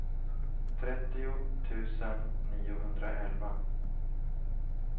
trettio tusen niohundraelva